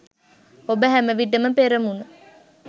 ඔබ හැමවිටම පෙරමුණ